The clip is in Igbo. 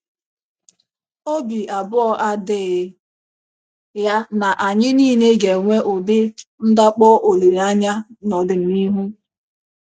Obi abụọ adịghị ya na anyị nile ga-enwe ụdị ndakpọ olileanya n'ọdịnihu.